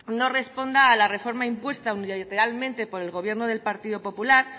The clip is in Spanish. no responda a la reforma impuesta unilateralmente por el gobierno del partido popular